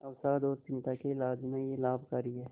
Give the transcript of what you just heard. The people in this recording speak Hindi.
अवसाद और चिंता के इलाज में यह लाभकारी है